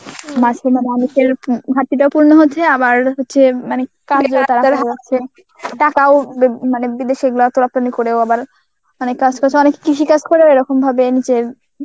মানুষের ঘাটতিটা পূর্ণ হচ্ছে আবার হচ্ছে আবার হচ্ছে টাকাও মানে উম বিদেশে এগুলা রপ্তানি করেও আবার অনেক কাজ করছে. অনেক কৃষি কাজ করেও এরকম ভাবে নিজের